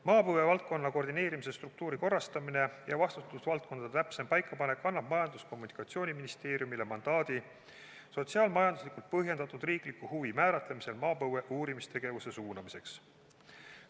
Maapõuevaldkonna koordineerimise struktuuri korrastamine ja vastutusvaldkondade täpsem paikapanek annab Majandus- ja Kommunikatsiooniministeeriumile mandaadi sotsiaal-majanduslikult põhjendatud riikliku huvi määratlemisel maapõue uurimise suunamiseks.